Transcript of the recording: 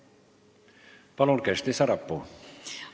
Palun, Kersti Sarapuu!